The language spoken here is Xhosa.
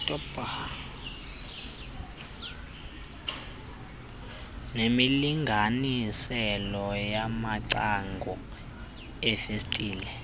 nemilinganiselo yamacango iifestile